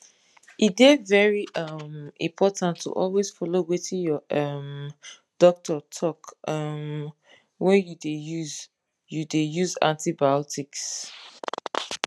e dey very um important to always follow wetin your um doctor talk um when you dey use you dey use antibiotics